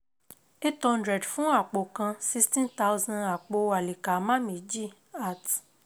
eight hundred fun apo kan sixteen thousand apo Alikama meji at